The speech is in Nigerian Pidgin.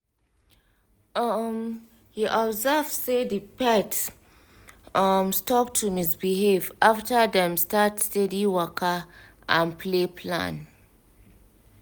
um he observe say the pet um stop to misbehave after dem start steady waka and play plan. um